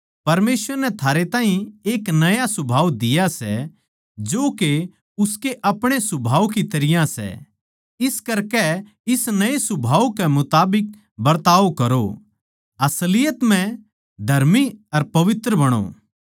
परमेसवर नै थारे ताहीं एक नया सुभाव दिया सै जो के उसके अपणे सुभाव की तरियां सै इस करकै इस नये सुभाव के मुताबिक बरताव करो असलियत म्ह धर्मी अर पवित्र बणो